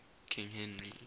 king henry